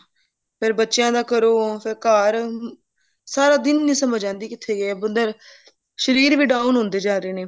ਫੇਰ ਬੱਚਿਆ ਦਾ ਕਰੋ ਫੇਰ ਘਰ ਸਾਰਾ ਦਿਨ ਨਹੀਂ ਸਮਝ ਆਂਦੀ ਕਿੱਥੇ ਗਿਆ ਬੰਦੇ ਦਾ ਸ਼ਰੀਰ ਵੀ down ਹੁੰਦੇ ਜਾ ਰਹੇ ਨੇ